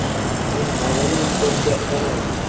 Men madaniy kodga ishonaman.